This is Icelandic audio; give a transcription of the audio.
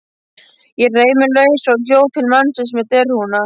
Ég reif mig lausa og hljóp til mannsins með derhúfuna.